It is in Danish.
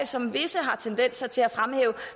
som visse har tendenser til at fremhæve